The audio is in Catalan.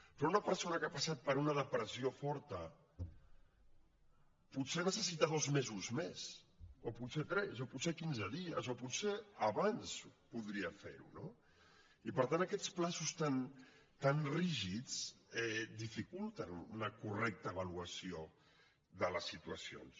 però una persona que ha passat per una depressió forta potser necessita dos mesos més o potser tres o potser quinze dies o potser abans podria fer ho no i per tant aquests terminis tan rígids dificulten una correcta avaluació de les situacions